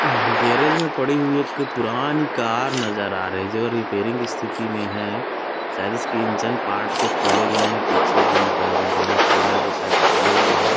Garage मे पड़ी हुई एक पुरानी कार नज़र आ रही है जो रिपेइरिंग स्थिति में है शायद इसके इंजन पार्ट को खोले गए है पीछे भी बै बोनट वगैरा को शायद खोले हुए है।